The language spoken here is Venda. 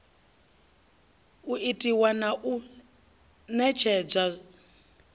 u itiwa na u ṋetshedzwa